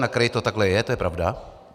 Na kraji to takto je, to je pravda.